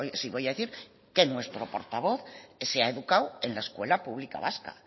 sí voy a decir que nuestro portavoz se ha educado en la escuela pública vasca